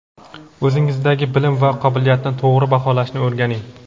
O‘zingizdagi bilim va qobiliyatni to‘g‘ri baholashni o‘rganing.